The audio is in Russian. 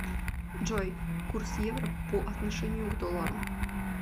джой курс евро по отношению к доллару